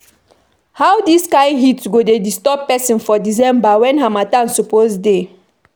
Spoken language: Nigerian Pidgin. How dis kain heat go dey disturb pesin for December wen harmattan suppose dey.